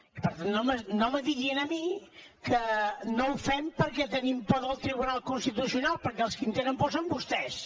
i per tant no me digui a mi que no ho fem perquè tenim por del tribunal constitucional perquè els qui en tenen por són vostès